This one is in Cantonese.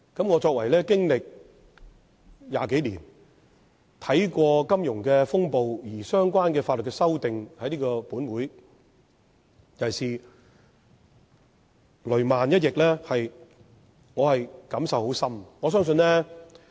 我作為議員20多年，對於經歷金融風暴而在本會提出相關法律修訂——尤其是"雷曼"一役——我感受甚深。